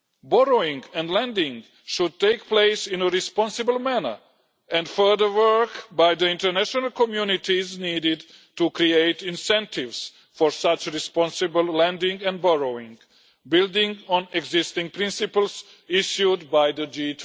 Borrowing and lending should take place in a responsible manner and further work by the international community is needed to create incentives for such responsible lending and borrowing, building on existing principles issued by the G